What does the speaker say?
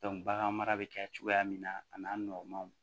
bagan mara bɛ kɛ cogoya min na a n'a nɔgɔmanw